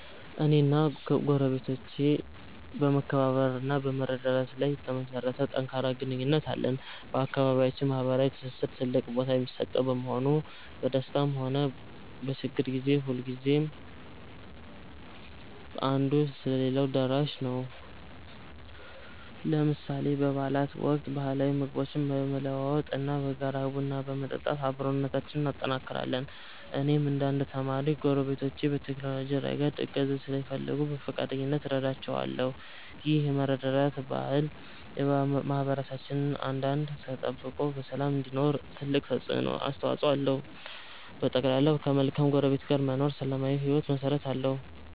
እኔና ጎረቤቶቼ በመከባበር እና በመረዳዳት ላይ የተመሠረተ ጠንካራ ግንኙነት አለን። በአካባቢያችን ማኅበራዊ ትስስር ትልቅ ቦታ የሚሰጠው በመሆኑ፣ በደስታም ሆነ በችግር ጊዜ ሁልጊዜም አንዱ ለሌላው ደራሽ ነው። ለምሳሌ በበዓላት ወቅት ባህላዊ ምግቦችን በመለዋወጥ እና በጋራ ቡና በመጠጣት አብሮነታችንን እናጠናክራለን። እኔም እንደ አንድ ተማሪ፣ ጎረቤቶቼ በቴክኖሎጂ ረገድ እገዛ ሲፈልጉ በፈቃደኝነት እረዳቸዋለሁ። ይህ የመረዳዳት ባህል ማኅበረሰባችን አንድነቱ ተጠብቆ በሰላም እንዲኖር ትልቅ አስተዋፅኦ አለው። በጠቅላላው፣ ከመልካም ጎረቤት ጋር መኖር ለሰላማዊ ሕይወት መሠረት ነው።